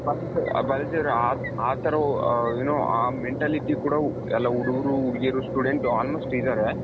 ಬಾಲಾಜಿ ಬಾಲಾಜಿ ಅವರೇ ಆ ತರ you know ಆ mentality ಕೂಡ ಎಲ್ಲಾ ಹುಡ್ಗುರು ಹುಡ್ಗೀರು student almost ಇದ್ದಾರೆ.